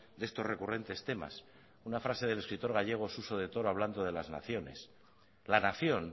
de estos recurrentes temas una frase del escritor gallego suso de toro hablando de las naciones la nación